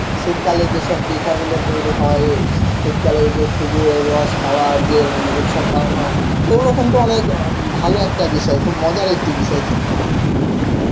শীতকালে যে সব পিঠাগুলো তৈরি হয়, শীতকালে যে খেজুরের রস খাওয়ার যে উৎসবগুলো পালন হয় ওগুলো কিন্যু অনেক অ্যাঁ ভালো একটা বিষয় খুব মজার একটা বিষয় কিন্তু